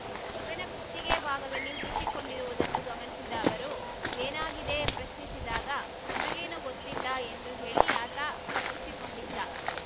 ಮಗನ ಕುತ್ತಿಗೆ ಭಾಗದಲ್ಲಿ ಊದಿಕೊಂಡಿರುವುದನ್ನು ಗಮನಿಸಿದ ಅವರು ಏನಾಗಿದೆ ಪ್ರಶ್ನಿಸಿದಾಗ ನಮಗೇನು ಗೊತ್ತಿಲ್ಲ ಎಂದು ಹೇಳಿ ಆತ ತಪ್ಪಿಸಿಕೊಂಡಿದ್ದ